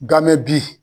Ganme bi